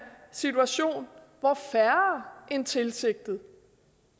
situation hvor færre end tilsigtet